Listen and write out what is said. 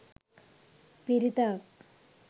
පිරිතක්